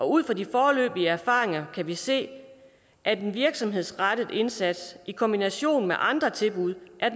ud fra de foreløbige erfaringer kan vi se at en virksomhedsrettet indsats i kombination med andre tilbud er